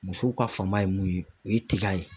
Musow ka fanba ye mun ye o ye tiga ye